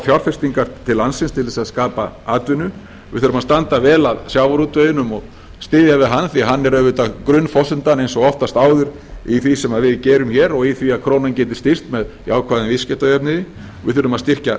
fjárfestingar til landsins til þess að skapa atvinnu við þurfum að standa vel að sjávarútveginum og styðja við hann því að hann er auðvitað grunnforsendan eins og oftast áður í því sem við gerum hér og í því að krónan geti styrkst með jákvæðum viðskiptajöfnuði við þurfum að styrkja